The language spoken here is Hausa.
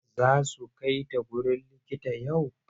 Za su kai ta wurin likitan yau?